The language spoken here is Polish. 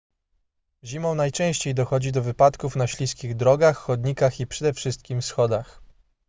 zimą najczęściej dochodzi do wypadków na śliskich drogach chodnikach i przede wszystkim schodach